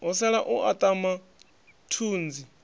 ho sala u aṱama thunzi